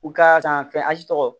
U ka san fɛn tɔgɔ